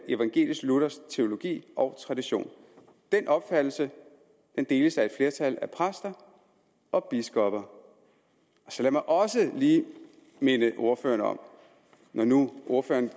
evangelisk luthersk teologi og tradition den opfattelse deles af et flertal af præster og biskopper lad mig også lige minde ordføreren om når nu ordføreren